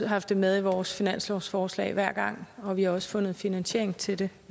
haft det med i vores finanslovsforslag hver gang og vi har også fundet finansiering til det